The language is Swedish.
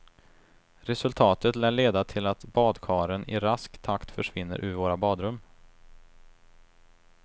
Resultatet lär leda till att badkaren i rask takt försvinner ur våra badrum.